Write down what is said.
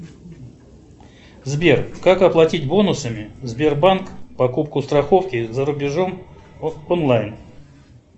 сбер как оплатить бонусами сбербанк покупку страховки за рубежом онлайн